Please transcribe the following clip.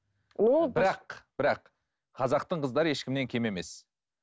бірақ қазақтың қыздары ешкімнен кем емес